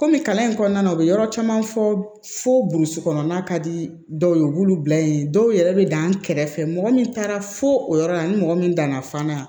Kɔmi kalan in kɔnɔna na u bɛ yɔrɔ caman fɔ burusi kɔnɔna ka di dɔw ye u b'olu bila yen dɔw yɛrɛ bɛ dan kɛrɛ fɛ mɔgɔ min taara fo o yɔrɔ la ani mɔgɔ min danna fana